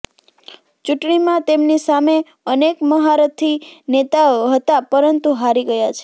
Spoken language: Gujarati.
ચૂંટણીમાં તેમની સામે અનેક મહારથી નેતાઓ હતા પરંતુ હારી ગયા છે